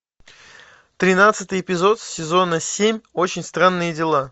тринадцатый эпизод сезона семь очень странные дела